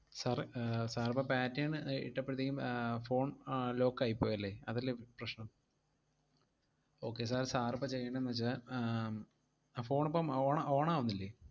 Sir uh sir ഇപ്പം pattern uh ഇട്ടപ്പഴത്തേക്കും ആഹ് phone ആഹ് lock ആയി പോയല്ലേ? അതല്ലേ പ്~ പ്രശ്നം okay sir, sir ഇപ്പം ചെയ്യേണ്ടേന്നു വെച്ചാ ആഹ് ഉം ആ phone ഇപ്പം on അ~ on ആവുന്നില്ലേ?